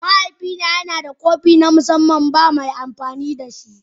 Mahaifina yana da kofi na musamman, babu mai amfani da shi.